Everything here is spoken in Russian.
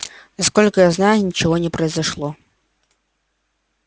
насколько я знаю ничего не произошло